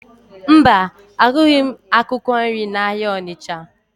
Mba, ahụghị m akwụkwọ nri n'ahịa Ọnịcha